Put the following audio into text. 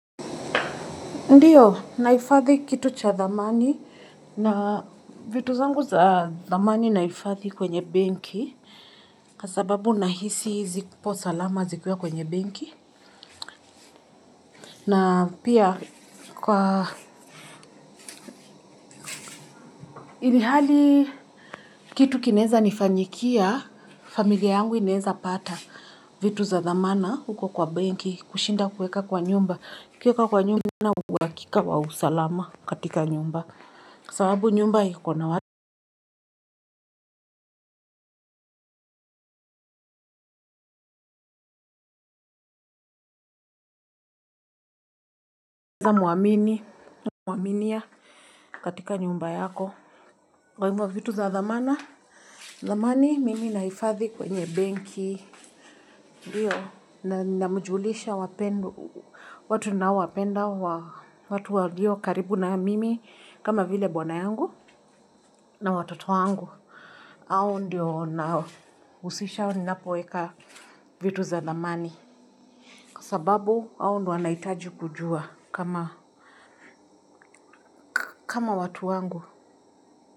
Ndiyo, nahifathi kitu cha dhamani na vitu zangu za dhamani nahifathi kwenye benki kwa sababu nahisi zipo salama zikuwa kwenye benki na pia kwa ilhali kitu kinaweza nifanyikia, familia yangu inaweza pata vitu za dhamana huko kwa benki kushinda kuweka kwa nyumba, ukiweka kwa nyumba huna uhakika wa usalama katika nyumba kwa sababu nyumba ikona unaweza muamini muaminia katika nyumba yako kwa hivyo vitu za dhamana dhamani mimi nahifathi kwenye benki ndio namjulisha wapendwa watu ninaowapenda watu walio karibu na mimi kama vile bwana yangu na watoto wangu. Hao ndio naohusisha ninapoeka vitu za dhamani kwa sababu hao ndio wanaitaji kujua kama kama watu wangu.